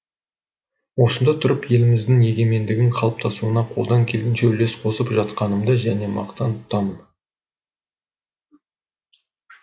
осында тұрып еліміздің егемендігінің қалыптасуына қолдан келгенше үлес қосып жатқандығымды және мақтан тұтамын